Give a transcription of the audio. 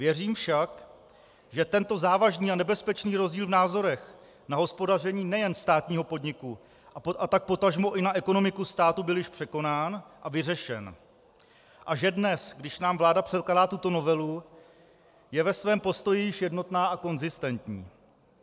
Věřím však, že tento závažný a nebezpečný rozdíl v názorech na hospodaření nejen státního podniku, a tak potažmo i na ekonomiku státu byl již překonán a vyřešen a že dnes, když nám vláda předkládá tuto novelu, je ve svém postoji již jednotná a konzistentní.